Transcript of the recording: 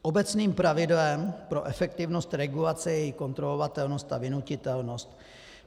Obecným pravidlem pro efektivnost regulace je její kontrolovatelnost a vynutitelnost.